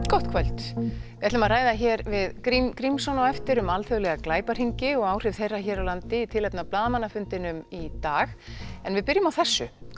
gott kvöld við ætlum að ræða hér við Grím Grímsson á eftir um alþjóðlega glæpahringi og áhrif þeirra hér á landi í tilefni af blaðamannafundinum í dag en við byrjum á þessu